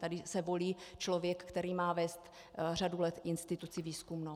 Tady se volí člověk, který má vést řadu let instituci výzkumnou.